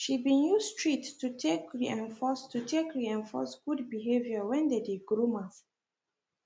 she been use treats to take reinforce to take reinforce good behaviour when they dey groom am